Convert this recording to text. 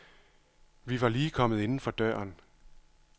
Vi var lige kommet inden for døren.